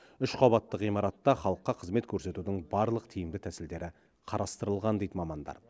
үш қабатты ғимаратта халыққа қызмет көрсетудің барлық тиімді тәсілдері қарастырылған дейді мамандар